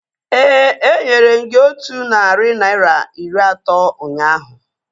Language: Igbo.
Éè, enyere m gị otú narị naira iri atọ ụnyaahụ